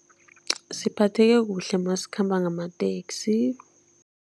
Siphatheke kuhle masikhamba ngamateksi.